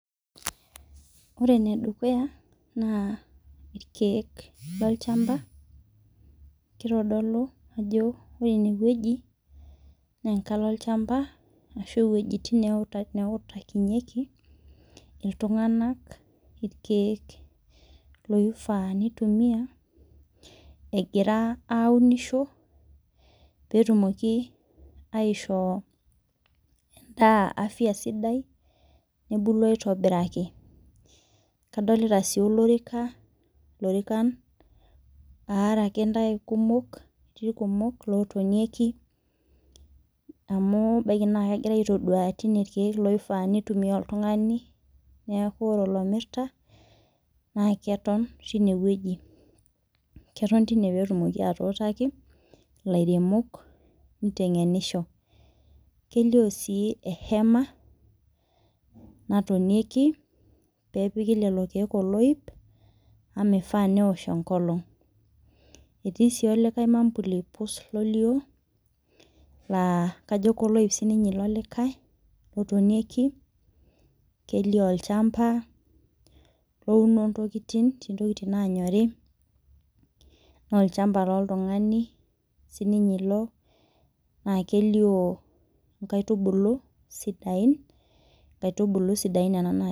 Ore ene dukuya naa irkeek loo lchamba. Kitodolu ajo ore eneweji naa enkalo olchamba ashu iwejitin nautakinyeki iltung'ana irkeek loifaa nitumiabegira aunisho petumoki aishoo edaa afya sidai nebulu aitobiraki. Kadolita sii olorika ilorikaan akeyie kumok lootonieki amu ebaki naa kegirae aitoduaya tineweji irkeek loifaa nitumia oltung'ani. Neeku ore olomirita naa keton timeweji keton tineweji petumoki atuutaki ilairemok niteng'enisho. Kelio sii ehema natonieki pepiki lelo keek oloip amu meifaa neosh enkolong'. Etii si likae mambuli pus lolio laa kajo koloip sii ilo likae lotonieki. Kelio olchamba ouno intokitin etii intkitin naanyori naa olchamba loltungani sii ninye ilobnaa kelio inkaitubulu sidain. Inkaitubulu sidain nena